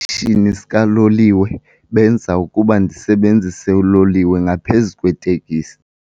esitishini sikaloliwe benza ukuba ndisebenzise uloliwe ngaphezu kweeteksi.